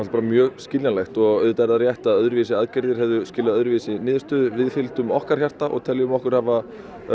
bara mjög skiljanlegt auðvitað er það rétt að öðruvísi aðgerðir hefðu skilað öðruvísi niðurstöðu við fylgdum okkar hjarta og teljum okkur hafa